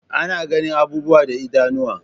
Ana ganin abubuwa da idanuwa